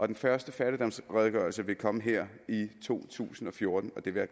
den første fattigdomsredegørelse vil komme her i to tusind og fjorten og det vil